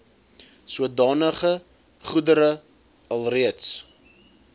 sodanige goedere alreeds